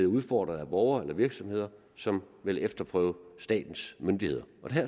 udfordres af borgere eller virksomheder som vil efterprøve statens myndigheder